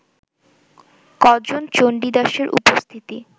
ক’জন চন্ডীদাসের উপস্থিতি